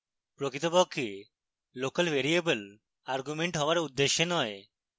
প্রকৃতপক্ষে local variable arguments হওয়ার উদ্দেশ্যে নয়